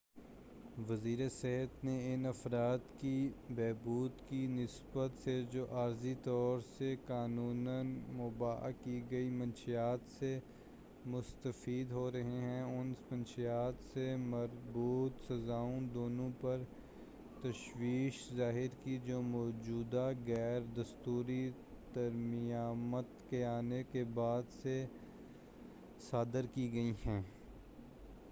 وزیرِ صحت نے ان افراد کی بہبود کی نسبت سے جو عارضی طور سے قانوناً مُباح کی گئی منشیات سے مستفید ہو رہے ہیں اور ان منشیات سے مربوط سزاؤں دونوں پر تشویش ظاہر کی جو موجودہ غیر دستوری ترمیمات کے آنے کے بعد سے صادر کی گئی ہیں